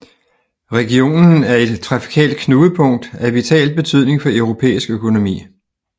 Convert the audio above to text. Regionen er et trafikalt knudepunkt af vital betydning for europæisk økonomi